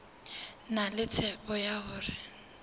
na le tshepo ya hore